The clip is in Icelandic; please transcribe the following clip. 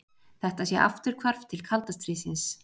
Þetta sé afturhvarf til kalda stríðsins